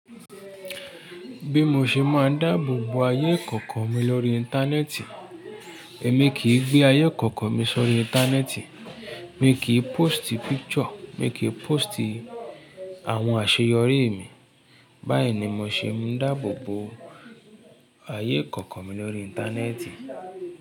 Bí mo ṣe máa ń dáàbò bo ayé ìkọ̀kọ̀ mi lórí Íńtánẹ́ẹ̀tì? Èmi kì í gbé ayé ìkọ̀kọ̀ mi sórí Íńtánẹ́ẹ̀tì. Mi kì í pósìtì píkìṣọ̀, mi kì í pósìtì àwọn àṣeyọrí mi. Báyìí ni mo ṣe ń dáàbò bo ayé ìkọ̀kọ̀ mi lórí Íńtánẹ́ẹ̀tì.